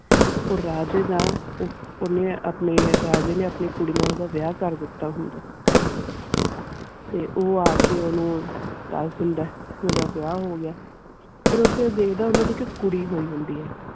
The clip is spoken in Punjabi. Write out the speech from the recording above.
ਉਹ ਰਾਜੇ ਦਾ ਓਨੇ ਆਪਣੇ ਰਾਜੇ ਆਪਣੀ ਕੁੜੀ ਨਾਲ ਓਦਾਂ ਵਿਆਹ ਕਰ ਦਿੱਤੋ ਹੋਂਦ ਤੇ ਉਹ ਆਕੇ ਓਨੁ ਦਾਸ ਦੇਂਦਾ ਓਦਾਂ ਵਿਆਹ ਹੋ ਗਿਆ ਫਿਰ ਓਥੇ ਦਿਖਦਾ ਓਨਾ ਦੀ ਇਕ ਕੁੜੀ ਹੋਈ ਹੋਂਦੀ ਹੈ.